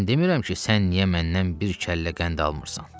Mən demirəm ki sən niyə məndən bir kəllə qəndi almırsan?